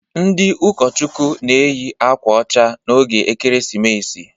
Ndị ụkọchukwu na-eyị akwa ọcha n'oge Ekeresimesi.